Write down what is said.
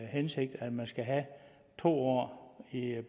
hensigt at man skal have to år i en